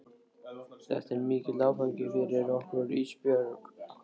Þetta er mikill áfangi fyrir okkur Ísbjörg, segir mamma.